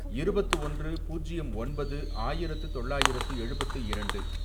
இருபத்து ஒன்று, பூஜ்யம் ஒன்பது, ஆயிரத்து தொள்ளாயிரத்து எழுபத்து இரண்டு